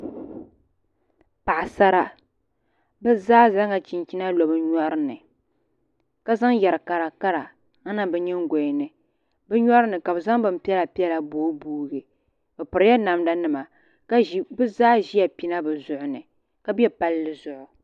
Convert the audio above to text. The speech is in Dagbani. Paɣasara bi zaa zaŋla chinchina lo bi nyori ni ka zaŋ yɛri kara kara n niŋ bi nyingoya ni bi nyori ni ka bi zaŋ bin piɛla piɛla booi booi bi pirila namda nima bi zaa ʒila pina bi zuɣu ni ka bɛ palli zuɣu